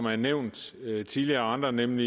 er nævnt tidligere af andre nemlig